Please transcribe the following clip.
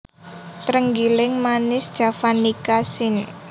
Trenggiling Manis javanica syn